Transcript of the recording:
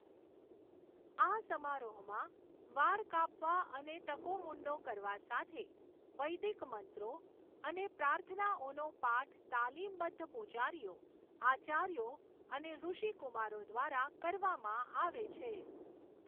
આ સમારોહમાં, વાળ કાપવા અને ટકો મૂંડો કરવા સાથે, વૈદિક મંત્રો અને પ્રાર્થનાઓનો પાઠ તાલીમબદ્ધ પૂજારીઓ, આચાર્યો અને ઋષિકુમારો દ્વારા કરવામાં આવે છે.